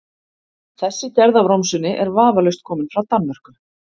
Þessi gerð af romsunni er vafalaust komin frá Danmörku.